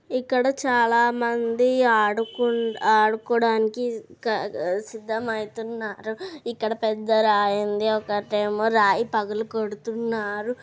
ఇక్కడ చాలా మంది ఆడుకొం -ఆడుకోడానికి సిద్ధమైతున్నారు ఇక్కడ పెద్ద రాయి ఉంది ఒక అట్టేమో రాయి పగలగోడుతున్నారు.